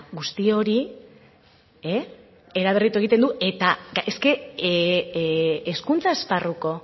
guzti hori eraberritu egiten du eta es que hezkuntza esparruko